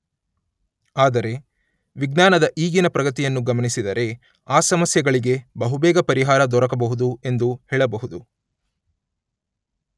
ಆದರೆ ವಿಜ್ಞಾನದ ಈಗಿನ ಪ್ರಗತಿಯನ್ನು ಗಮನಿಸಿದರೆ ಆ ಸಮಸ್ಯೆಗಳಿಗೆ ಬಹುಬೇಗ ಪರಿಹಾರ ದೊರಕಬಹುದು ಎಂದು ಹೇಳಬಹುದು.